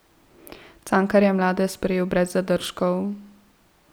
Cankar je mlade sprejel brez zadržkov.